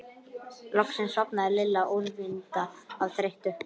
Loksins sofnaði Lilla úrvinda af þreytu.